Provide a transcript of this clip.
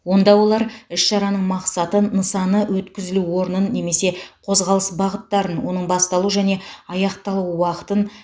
онда олар іс шараның мақсаты нысаны өткізілу орнын немесе қозғалыс бағыттарын оның басталу және аяқталу уақытын